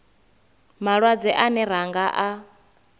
malwadze ane ra nga a